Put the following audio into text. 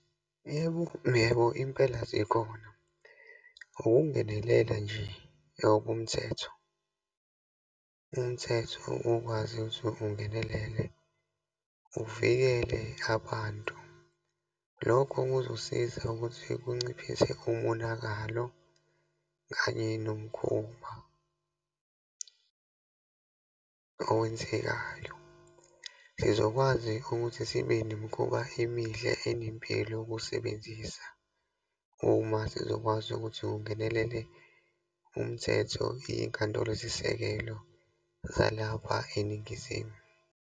Yebo, yebo, impela zikhona. Ukungenelela nje ngokomthetho. Umthetho ukwazi ukuthi ungenelele, uvikele abantu. Lokho kuzosiza ukuthi kunciphise umonakalo kanye nomkhuba owenzekayo. Sizokwazi ukuthi sibe nemikhuba emihle enempilo ukuwusebenzisa, uma sizokwazi ukuthi kungenelele umthetho, iyinkantolozisekelo zalapha eNingizimu.